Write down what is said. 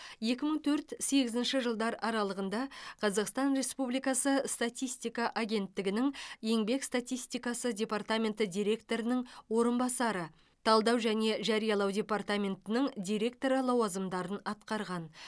екі мың төрт сегізінші жылдар аралығында қазақстан республикасы статистика агенттігінің еңбек статистикасы департаменті директорының орынбасары талдау және жариялау департаментінің директоры лауазымдарын атқарған